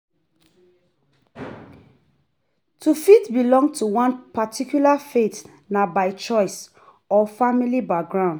To fit belong to one particular faith na by choice or family background